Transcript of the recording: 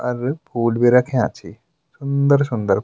अर food भी रख्याँ छि सुन्दर सुन्दर।